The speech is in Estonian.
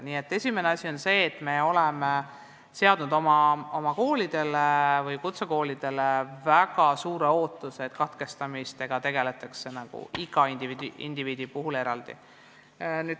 Nii et esimene asi on meie väga suur ootus, et kutsekoolis tegeldaks iga õpingute katkestajaga eraldi.